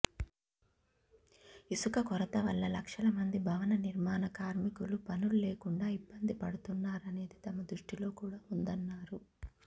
ఇసుక కొరత వల్ల లక్షల మంది భవన నిర్మాణ కార్మికులు పనుల్లేకుండా ఇబ్బంది పడుతున్నారనేది తమ దృష్టిలో కూడా వుందన్నారు